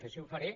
així ho faré